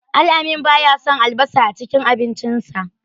Al-amin baya son albasa a cikin abincinsa.